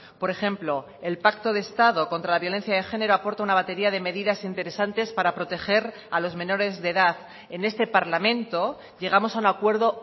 por ejemplo el pacto de estado contra la violencia de género aporta una batería de medidas interesantes para proteger a los menores de edad en este parlamento llegamos a un acuerdo